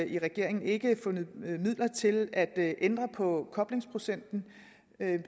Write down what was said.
i regeringen ikke fundet midler til at ændre på koblingsprocenten